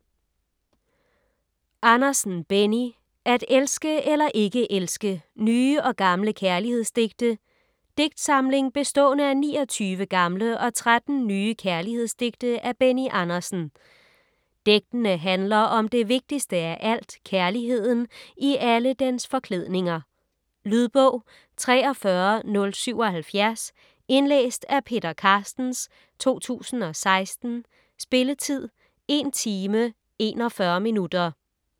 Andersen, Benny: At elske eller ikke elske: nye og gamle kærlighedsdigte Digtsamling bestående af 29 gamle og 13 nye kærlighedsdigte af Benny Andersen. Digtene handler om det vigtigste af alt, kærligheden i alle dens forklædninger. Lydbog 43077 Indlæst af Peter Carstens, 2016. Spilletid: 1 timer, 41 minutter.